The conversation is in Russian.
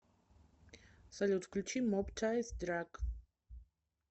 салют включи моб тайс драк